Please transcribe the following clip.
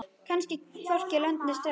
Kemst hvorki lönd né strönd.